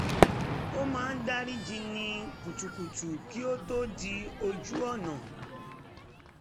ó máa ń dárí ji ní kutukutu kí ó tó dí ojú ọ̀nà